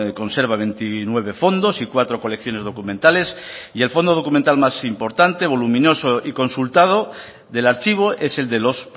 conserva veintinueve fondos y cuatro colecciones documentales y el fondo documental más importante voluminoso y consultado del archivo es el de los